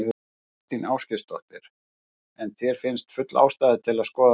Þóra Kristín Ásgeirsdóttir: En þér finnst full ástæða til að skoða málið?